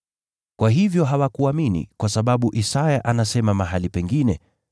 Kwa hivyo hawakuamini, kwa sababu Isaya anasema mahali pengine: